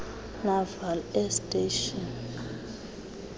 naval air station